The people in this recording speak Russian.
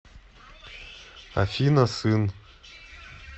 афина сын